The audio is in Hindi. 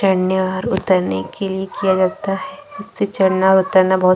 चढ़ने और उतरने के लिए किया जाता है खूद से चढ़ना उतरना बहुत --